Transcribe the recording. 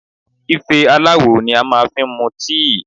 Ife aláwò ni a ma fi ń mu tíì.